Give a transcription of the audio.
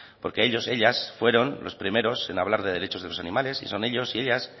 porque ellos ellas fueron los primeros en hablar de derechos de los animales y son ellos y ellas